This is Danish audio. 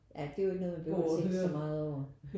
Ja det er jo noget man ikke behøver at tænke så meget over